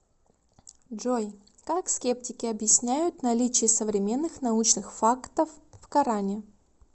джой как скептики объясняют наличие современных научных фактов в коране